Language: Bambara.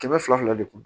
Kɛmɛ fila fila de kun